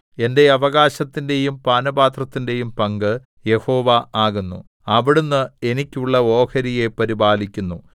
എന്റെ അവകാശത്തിന്റെയും പാനപാത്രത്തിന്റെയും പങ്ക് യഹോവ ആകുന്നു അവിടുന്ന് എനിക്കുള്ള ഓഹരിയെ പരിപാലിക്കുന്നു